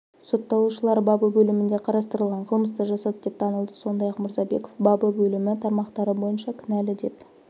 сотталушылар бабы бөлімінде қарастырылған қылмысты жасады деп танылды сондай-ақ мырзабеков бабы бөлімі тармақтары бойынша кінәлі деп